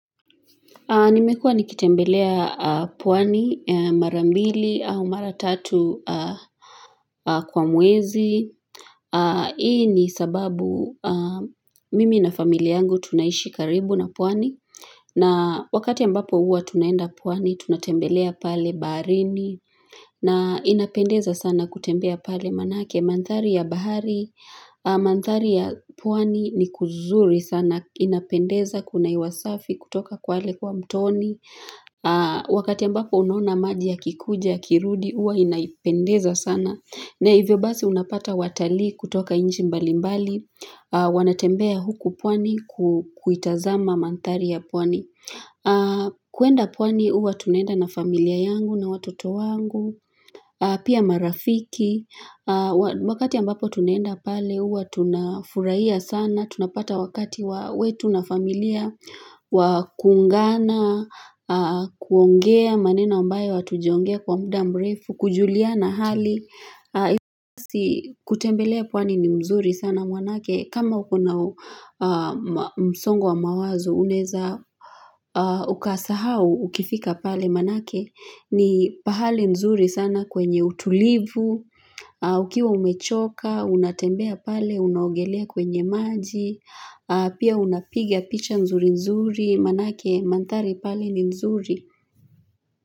Nimekua nikitembelea puwani, mara mbili au mara tatu kwa mwezi. Hii ni sababu mimi na familia yangu tunaishi karibu na puwani. Na wakati ambapo huwa tunaenda pwani, tunatembelea pale baharini. Na inapendeza sana kutembea pale manake. Mandhari ya bahari, mandhari ya pwani ni kuzuri sana. Inapendeza kuna hewa safi kutoka kwale kwa mtoni. Wakati ambako unona maji ya kikuja, ya kirudi, huwa inaipendeza sana na hivyo basi unapata watalii kutoka nchi mbalimbali. Wanatembea huku pwani kuitazama mandhari ya pwani. Kuenda pwani huwa tunaenda na familia yangu na watoto wangu pia marafiki wakati ambapo tunaenda pale huwa tunafurahia sana tunapata wakati wetu na familia wa kuungana, kuongea maneno ambayo hatujaongea kwa muda mrefu, kujulia na hali. Kutembelea pwani ni mzuri sana maana yake kama ukona msongo wa mawazo unaweza ukasahau ukifika pale maana yake ni pahali mzuri sana kwenye utulivu. Ukiwa umechoka, unatembea pale, unaugelea kwenye maji. Pia unapiga picha nzuri nzuri. Maana yake mandhari pale ni nzuri.